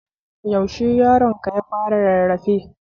When did you baby start crawling?